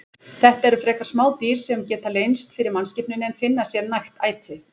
Þetta eru frekar smá dýr sem geta leynst fyrir mannskepnunni en finna sér nægt æti.